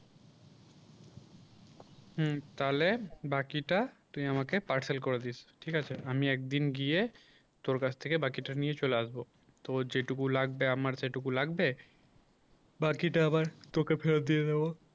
হুম তাহলে বাকিটা তুই আমাকে parcel করে দিস ঠিক আছে আমি একদিন গিয়ে তোর কাছ থেকে বাকিটা নিয়ে চলে আসব তোর যেটুকু লাগবে আমার সেটুকু লাগবে বাকিটা আবার তোকে ফেরত দিয়ে দেবো